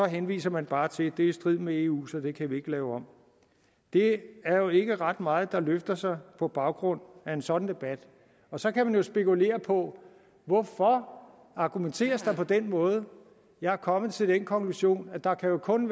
henviser man bare til at det er i strid med eu så det kan vi ikke lave om det er jo ikke ret meget der løfter sig på baggrund af en sådan debat og så kan man jo spekulere på hvorfor argumenteres på den måde jeg er kommet til den konklusion at der jo kun